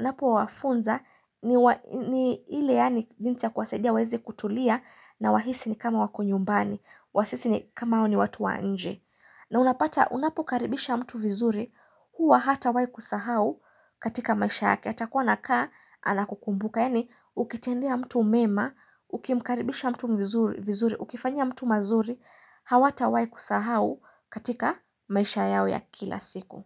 napo wafunza ni ile yaani jinsi ya kuwasaidia waezi kutulia na wahisi ni kama wako nyumbani Wasisi ni kama wao ni watu wanje na unapata unapokaribisha mtu vizuri Huwa hatawai kusahau katika maisha yake atakuwa na kaa anakukumbuka Yani ukitendia mtu mema Ukimkaribisha mtu vizuri Ukifanya mtu mazuri Hawata wai kusahau katika maisha yao ya kila siku.